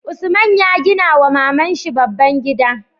Usman ya gina wa maman shi babban gida